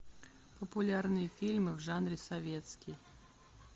популярные фильмы в жанре советский